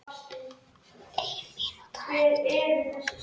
Ein mínúta eftir.